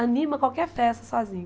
Anima qualquer festa sozinho.